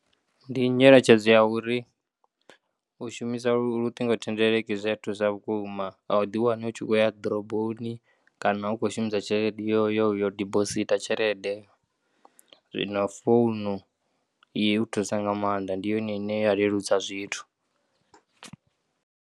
Ndinyeletshedzo ya uri ushumisa luṱingo thendeleki zwi ya thusa vhukuma au ḓiwani u tshi khouya ḓoroboni kana u tshi kho shumisa tshelede yo yo dipositha tshelede zwino founu i u thusa nga maanḓa ndi yone ine ya leludza zwithu.